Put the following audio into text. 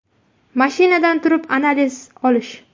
Mashinadan turib analiz olish.